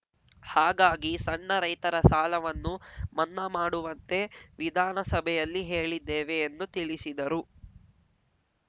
ಹಾಗಾಗಿ ಸಣ್ಣ ರೈತರ ಸಾಲವನ್ನು ಮನ್ನಾ ಮಾಡುವಂತೆ ವಿಧಾನಸಭೆಯಲ್ಲಿ ಹೇಳಿದ್ದೇವೆ ಎಂದು ತಿಳಿಸಿದರು